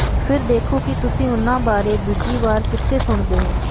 ਫਿਰ ਦੇਖੋ ਕਿ ਤੁਸੀਂ ਉਨ੍ਹਾਂ ਬਾਰੇ ਦੂਜੀ ਵਾਰ ਕਿੱਥੇ ਸੁਣਦੇ ਹੋ